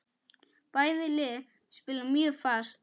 Bæði lið spila mjög fast.